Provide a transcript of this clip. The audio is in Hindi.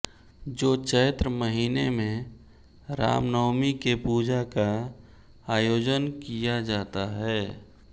जो चैत्र महीने में रामनवमी के पूजा का आयोजन किया जाता है